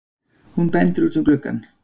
Hún bendir út um gluggann.